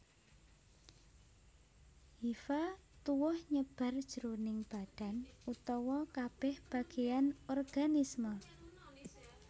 Hifa tuwuh nyebar jroning badan utawa kabèh bagéyan organisme